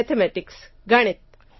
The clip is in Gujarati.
મેથેમેટિક્સ ગણિત